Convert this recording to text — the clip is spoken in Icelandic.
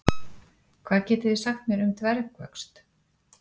Hvað getið þið sagt mér um dvergvöxt?